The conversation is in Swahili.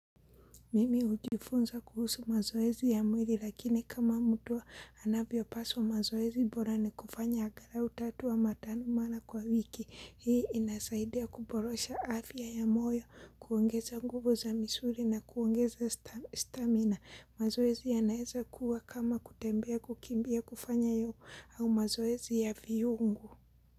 Mimi hujifunza kuhusu mazoezi ya mwili lakini kama mtu anavyo paswa mazoezi bora ni kufanya agalau tatu ama tano mara kwa wiki. Hii inasaidia kuborosha afya ya moyo, kuongeza nguvu za misuri na kuongeza stamina. Mazoezi ya naeza kuwa kama kutembea kukimbia kufanya yoga au mazoezi ya viungo.